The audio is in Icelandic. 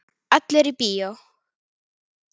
Allir í bíó!